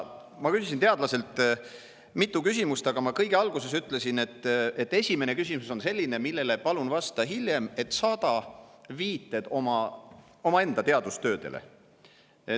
Ma küsisin teadlaselt mitu küsimust, aga kõige alguses ma ütlesin, et esimene küsimus on selline, millele vasta palun hiljem ja saada ka viited oma teadustöödele.